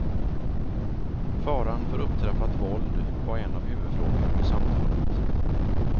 Faran för upptrappat våld var en av huvudfrågorna vid samtalet.